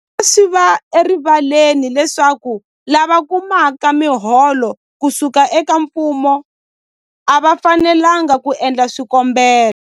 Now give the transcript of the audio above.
Swi tlhela swi va erivaleni leswaku lava kumaka miholo ku suka eka mfumo a va fanelanga ku endla swikombelo.